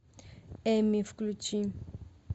эмми включи